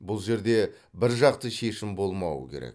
бұл жерде біржақты шешім болмауы керек